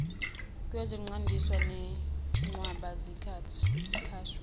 kweziqandisi nenqwaba yezitsha